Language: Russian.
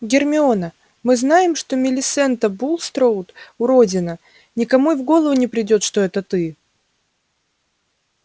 гермиона мы знаем что милисента булстроуд уродина никому и в голову не придёт что это ты